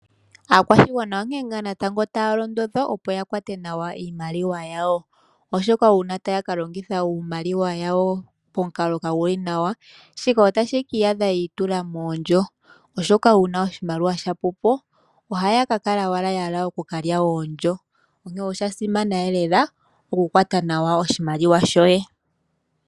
Aakwashigwana onkee ngaa natango taya londodhwa opo yakwate nawa iimaliwa yawo , oshoka uuna taya ka longitha iimaliwa yawo momukalo omwiinayi otashi keeta ya gule moondjo. Uuna oshimaliwa shapwapo ohaya kala yahala okukalya oondjo onkene oshasimana okukwata nawa oshimaliwa shoye.